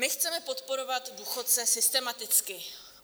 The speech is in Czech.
My chceme podporovat důchodce systematicky.